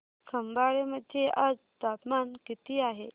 खंबाळे मध्ये आज तापमान किती आहे